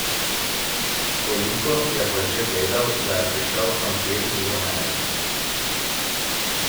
Toliko je pa že vedel, da je prišel krompir iz Amerike.